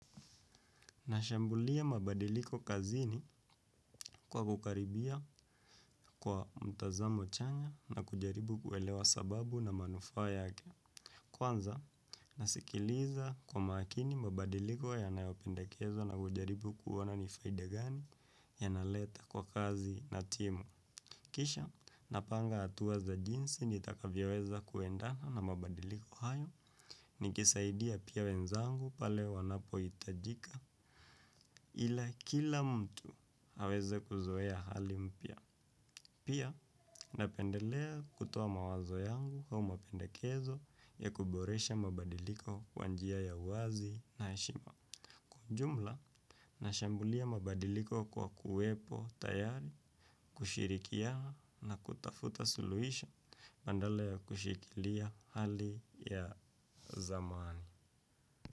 Nashambulia mabadiliko kazini kwa kukaribia kwa mtazamo chanya na kujaribu kuelewa sababu na manufaa yake. Kwanza, nasikiliza kwa makini mabadiliko ya nayopendekezwa na hujaribu kuona nifaidagani ya naleta kwa kazi na timu. Kisha, napanga hatua za jinsi nitakavyoweza kuendana na mabadiliko hayo ni kisaidia pia wenzangu pale wanapo hitajika. Ila kila mtu aweze kuzoea hali mpya. Pia napendelea kutoa mawazo yangu au mapendekezo ya kuboresha mabadiliko kwa njia ya uwazi na heshima. Kwa ujumla, nashambulia mabadiliko kwa kuwepo tayari. Kushirikiana na kutafuta suluhisho badala ya kushikilia hali ya zamani.